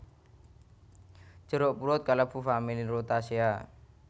Jeruk purut kalebu familia rutaceae